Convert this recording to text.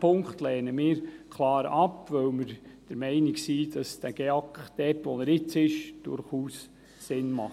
Wir lehnen diesen Punkt also klar ab, weil wir der Meinung sind, dass der GEAK, dort, wo er jetzt ist, durchaus Sinn macht.